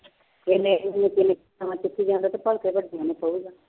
ਇੰਨੇ ਚੁੱਕੀ ਜਾਂਦਾ ਤੇ ਭਲਕੇ ਵੱਡਿਆਂ ਨੂੰ ਪਊਗਾ।